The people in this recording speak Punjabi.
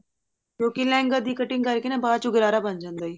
ਕਿਉਂਕਿ ਲਹਿੰਗੇ ਦੀ cutting ਕਰਕੇ ਨਾ ਬਾਚੋਂ ਗਰਾਰਾ ਬਣ ਜਾਂਦਾ